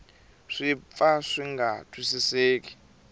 swi pfa swi nga twisiseki